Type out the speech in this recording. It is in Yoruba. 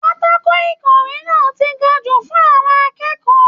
Pátákó ikọwe náà tí gà jù fún àwọn akẹ́kọ̀ọ́.